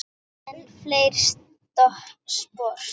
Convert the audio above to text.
Enn fleiri spor.